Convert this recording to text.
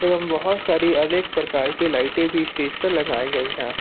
एवं बहुत सारी अनेक प्रकार की लाइट एं भी स्टेज पर लगाई गई हैं।